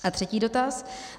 A třetí dotaz.